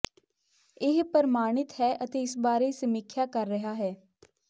ਇਹ ਪਰ੍ਮਾਿਣਤ ਹੈ ਅਤੇ ਇਸ ਬਾਰੇ ਸਮੀਖਿਆ ਕਰ ਰਿਹਾ ਹੈ